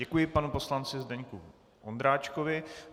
Děkuji panu poslanci Zdeňku Ondráčkovi.